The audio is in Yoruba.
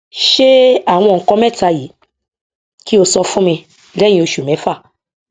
ṣe àwọn nǹkan mẹta yìí kí o sọ fún mi lẹyìn oṣù mẹfà